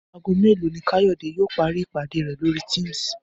Aago mélòó ni Káyọ̀dé yóò parí ìpàdé rẹ̀ lórí Teams?